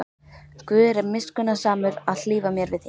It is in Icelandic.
Guð er miskunnsamur að hlífa mér við því.